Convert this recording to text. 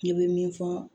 Ne bɛ min fɔ